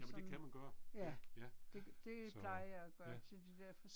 Jamen det kan man gøre. Ja, ja. Så. Ja